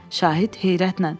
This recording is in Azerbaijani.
Şahid heyrətlə.